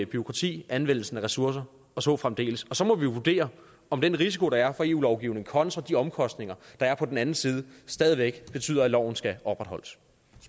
bureaukrati anvendelsen af ressourcer og så fremdeles og så må vi jo vurdere om den risiko der er fra eu lovgivningen kontra de omkostninger der er på den anden side stadig væk betyder at loven skal opretholdes